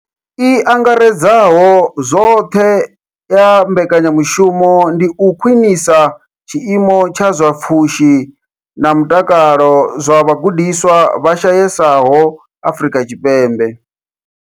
I angaredzaho zwoṱhe ya mbekanya mushumo ndi u khwinisa tshiimo tsha zwa pfushi na mutakalo zwa vhagudiswa vha shayesaho Afrika Tshipembe.